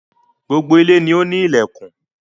Gbogbo ilé ni o ni ilẹkùn.